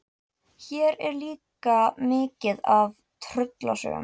Hér er líka mikið af tröllasögum.